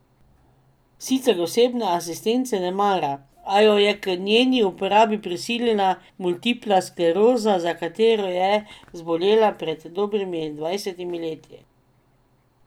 Sicer osebne asistence ne mara, a jo je k njeni uporabi prisilila multipla skleroza, za katero je zbolela pred dobrimi dvajsetimi leti.